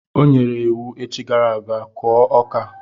O nyere iwu echi gara aga, kụọ ọka!